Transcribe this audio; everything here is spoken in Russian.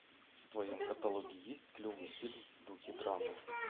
в твоем каталоге есть клевый фильм в духе драмы